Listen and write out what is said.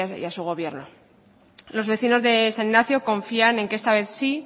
y a su gobierno los vecinos de san ignacio confían en que esta vez sí